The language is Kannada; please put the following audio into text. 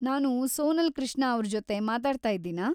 ನಾನು ಸೋನಲ್‌ ಕೃಷ್ಣ ಅವ್ರ್ ಜೊತೆ ಮಾತಾಡ್ತಾಯಿದ್ದೀನಾ?